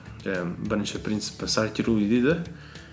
жаңағы бірінші принципі сортируй дейді